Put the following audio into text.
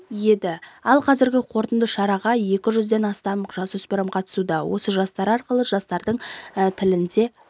еді ал қазіргі қорытынды шараға екі жүзден астам жасөспірім қатысуда осы жастар арқылы жастардың тілінде